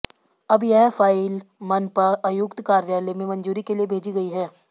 अब यह फाइल मनपा आयुक्त कार्यालय में मंजूरी के लिए भेजी गई है